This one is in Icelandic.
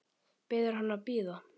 Biður hann að bíða.